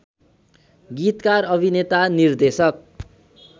गीतकार अभिनेता निर्देशक